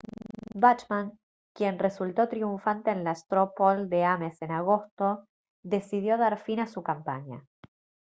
bachmann quien resultó triunfante en la straw poll de ames en agosto decidió dar fin a su campaña